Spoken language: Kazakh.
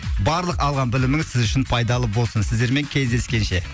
барлық алған біліміңіз сіз үшін пайдалы болсын сіздермен кездескенше